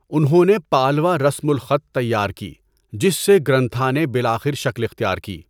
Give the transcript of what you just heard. انہوں نے پالوا رسم الخط تیار کی، جس سے گرنتھا نے بالآخر شکل اختیار کی۔